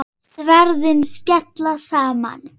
Sverðin skella saman.